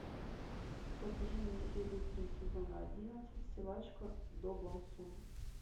покажи мне серию три сезона одиннадцать силачка до бон сун